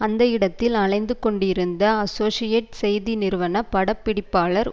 அந்த இடத்தில் அலைந்து கொண்டிருந்த அசோசியேட் செய்தி நிறுவன பட பிடிப்பாளர்